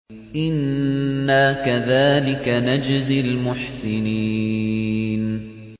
إِنَّا كَذَٰلِكَ نَجْزِي الْمُحْسِنِينَ